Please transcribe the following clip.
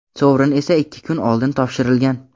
sovrin esa ikki kun oldin topshirilgan.